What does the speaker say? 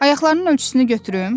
Ayaqlarının ölçüsünü götürüm?